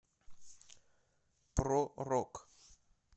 про рок